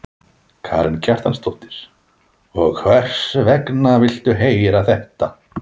Karen Kjartansdóttir: Og hvers vegna viltu heyra þetta?